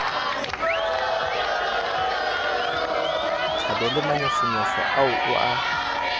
thabele manyofonyo ao o a